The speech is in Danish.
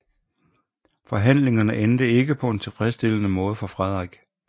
Forhandlingerne endte ikke på en tilfredsstillende måde for Frederik